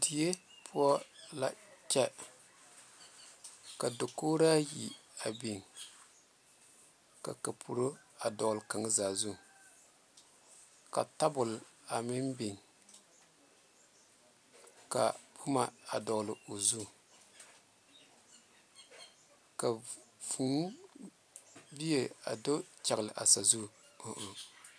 Die poɔ la Kyɛ ka dakogora yi meŋ big ka kampuro dɔle kaŋa zaa zu ka tabole meŋ big ka boma meŋ dɔle o zu ka vūū bie dɔle o zu.